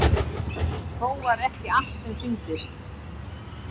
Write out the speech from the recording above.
Þó var ekki allt sem sýndist.